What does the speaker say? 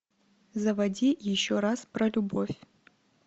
заводи еще раз про любовь